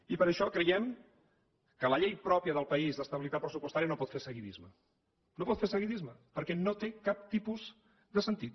i per això creiem que la llei pròpia del país d’estabilitat pressupostària no pot fer seguidisme no pot fer seguidisme perquè no té cap tipus de sentit